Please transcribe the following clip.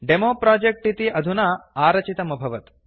demo project इति अधुना आरचितमभवत्